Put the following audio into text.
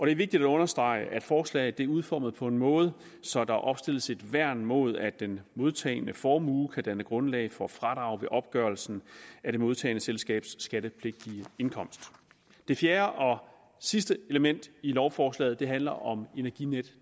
er vigtigt at understrege at forslaget er udformet på en måde så der opstilles et værn mod at den modtagende formue kan danne grundlag for fradrag ved opgørelsen af det modtagende selskabs skattepligtige indkomst det fjerde og sidste element i lovforslaget handler om energinetdk